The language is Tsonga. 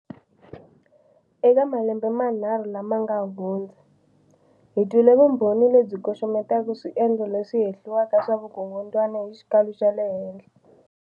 Eka malembe manharhu lama nga hundza, hi twile vumbhoni lebyi koxometaka swiendlo leswi hehliwaka swa vukungundzwana hi xikalo xa le henhla.